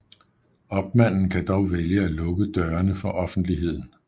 Opmanden kan dog vælge at lukke dørene for offentligheden